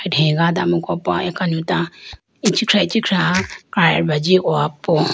dhegado amuku po akanota ichikiah ichikhiah krareba ji howa po.